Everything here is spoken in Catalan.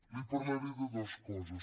li parlaré de dues coses